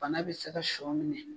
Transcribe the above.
Bana bɛ se ka sɔ minɛ.